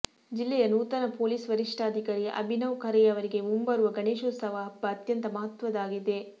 ಜಿಲ್ಲೆಯ ನೂತನ ಪೊಲೀಸ್ ವರಿಷ್ಠಾಧಿಕಾರಿ ಅಭಿನವ್ ಖರೇಯವರಿಗೆ ಮುಂಬರುವ ಗಣೇಶೋತ್ಸವ ಹಬ್ಬ ಅತ್ಯಂತ ಮಹತ್ವದ್ದಾಗಿದೆ